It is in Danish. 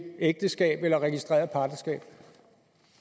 ægteskab eller registreret partnerskab